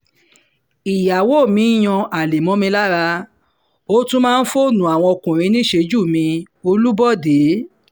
ìyàwó mi ń yan àlè mọ́ mi lára ó tún máa ń fóònù àwọn ọkùnrin níṣejú mi olúbọ̀dé